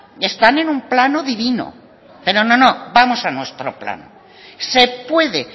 y están en un plano divino pero no no vamos a nuestro plan se puede